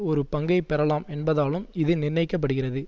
ஒரு பங்கை பெறலாம் என்பதாலும் இது நிண்ணயிக்கப்படுகிறது